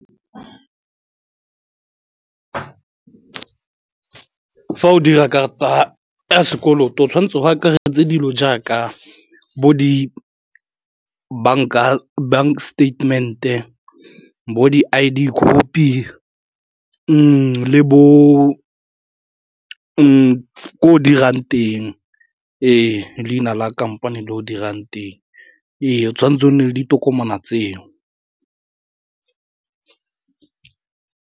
Fa o dira karata ya sekoloto o tshwanetse go akaretse dilo jaaka bo di bank statement-e bo di-I_D copy le bo ko o dirang teng ee, leina la kampane le o dirang teng, o tshwanetse o nne le ditokomane tseo.